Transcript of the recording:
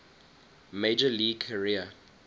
major league career